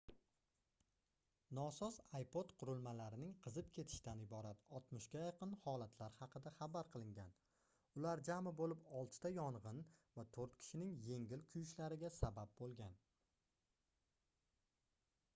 nosoz ipod qurilmalarining qizib ketishidan iborat 60 ga yaqin holatlar haqida xabar qilingan ular jami boʻlib 6 ta yongʻin va toʻrt kishining yengil kuyishlariga sabab boʻlgan